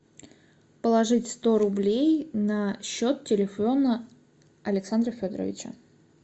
положить сто рублей на счет телефона александра федоровича